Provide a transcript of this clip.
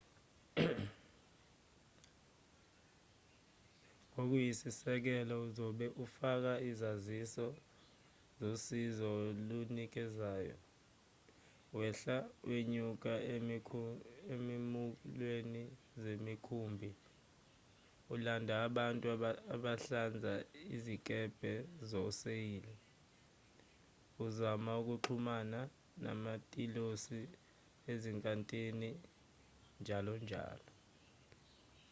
ngokuyisisekelo uzobe ufaka izaziso zosizo olunikezayo wehla wenyuka ezikhumulweni zemikhumbi ulanda bantu abahlanza izikebhe zawoseyili uzama ukuxhumana namatilosi ezinkantini njalo njalo